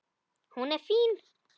Hún er fín.